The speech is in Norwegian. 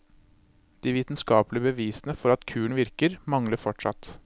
De vitenskapelige bevisene for at kuren virker, mangler fortsatt.